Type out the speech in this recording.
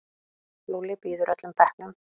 Lúlli býður öllum bekknum.